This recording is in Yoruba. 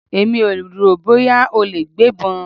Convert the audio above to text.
Èmi ò rò bóyá ó lè gbébọn.